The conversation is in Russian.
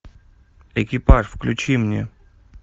экипаж включи мне